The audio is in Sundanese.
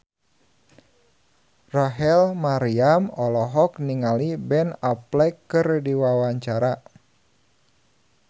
Rachel Maryam olohok ningali Ben Affleck keur diwawancara